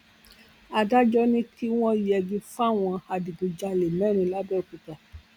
adájọ ni kí wọn yẹgi fáwọn adigunjalè mẹrin làbẹọkúta